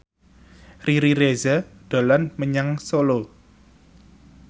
Riri Reza dolan menyang Solo